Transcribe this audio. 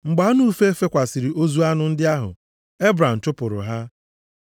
Mgbe anụ ufe fekwasịrị ozu anụ ndị ahụ, Ebram chụpụrụ ha.